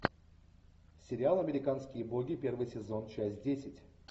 сериал американские боги первый сезон часть десять